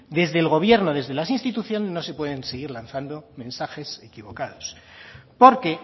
desde el gobierno desde las instituciones no se pueden seguir lanzando mensajes equivocados porque